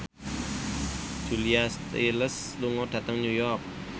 Julia Stiles lunga dhateng New York